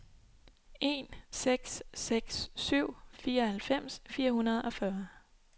en seks seks syv fireoghalvfems fire hundrede og fyrre